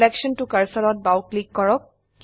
selection ত cursor ত বাও ক্লিক কৰক